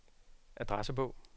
adressebog